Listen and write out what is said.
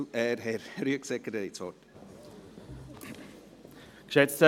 Herr Rüegsegger, Sie haben das Wort.